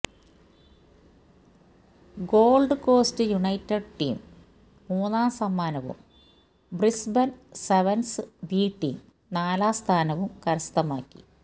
gold Coast United team മൂന്നാം സമ്മാനവും Brisbane sevens B team നാലാം സ്ഥാനവും കരസ്ഥമാക്കി